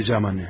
Gələcəm, anne.